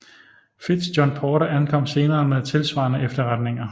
Fitz John Porter ankom senere med tilsvarende efterretninger